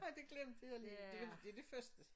Nej det glemte jeg lige det jo det jo det første